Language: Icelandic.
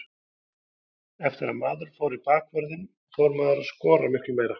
Eftir að maður fór í bakvörðinn fór maður að skora miklu meira.